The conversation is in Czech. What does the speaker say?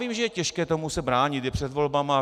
Vím, že je těžké se tomu bránit, je před volbami.